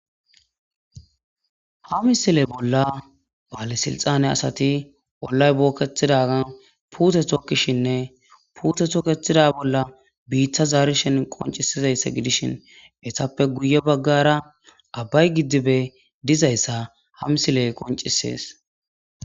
ha misile bolla balesilxane asati olay bokkethidagan puute tokkishinne puute tokethida bolla biitta zaarishen qoncisizayssa gidishin etappe guye baggara abbay giddibe dizayssa ha misiley qoncisees